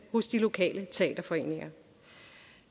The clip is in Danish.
hos de lokale teaterforeninger